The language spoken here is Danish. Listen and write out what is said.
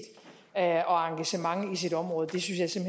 og engagement i sit område synes jeg